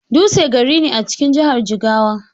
Dutse gari ne a cikin jahar Jigawa.